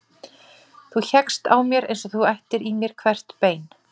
Þú hékkst á mér eins og þú ættir í mér hvert bein.